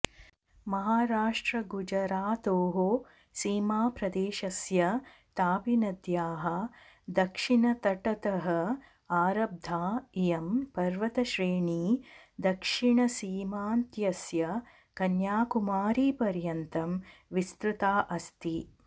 महाराष्ट्रगुजरातोः सीमाप्रदेशस्य तापीनद्याः दक्षिणतटतः आरब्धा इयं पर्वतश्रेणी दक्षिणसीमान्त्यस्य कन्याकुमारीपर्यन्तं विस्तृता अस्ति